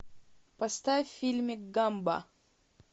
поставь фильмик гамба